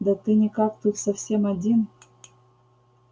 да ты никак тут совсем один